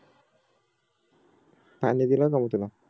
पाणी दिल जाऊन तिला